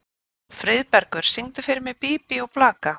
Friðbergur, syngdu fyrir mig „Bí bí og blaka“.